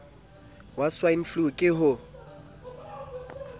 ya swine flu ke ho